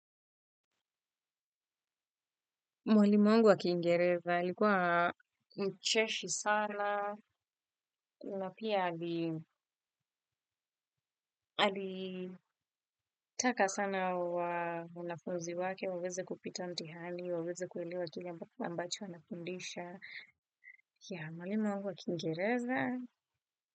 Mwalimu wangu wa kiingereza, alikuwa mcheshi sana, na pia alitaka sana wanafuzi wake, waweze kupita mtihani, waweze kuelewa kile ambacho anafundisha. Mwalimu wangu wa kiingereza.